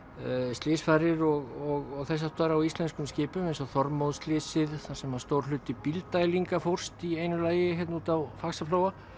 slysfarir og þess háttar á íslenskum skipum eins og þar sem stór hluti Bílddælinga fórst í einu lagi hérna úti á Faxaflóa